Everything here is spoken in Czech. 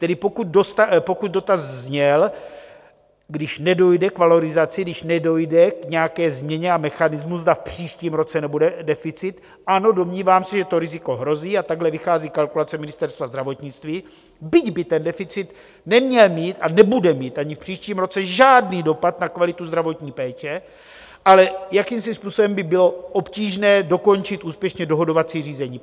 Tedy pokud dotaz zněl, když nedojde k valorizaci, když nedojde k nějaké změně a mechanismu, zda v příštím roce nebude deficit, ano, domnívám se, že to riziko hrozí, a takhle vychází kalkulace Ministerstva zdravotnictví, byť by ten deficit neměl mít a nebude mít ani v příštím roce žádný dopad na kvalitu zdravotní péče, ale jakýmsi způsobem by bylo obtížné dokončit úspěšně dohodovací řízení.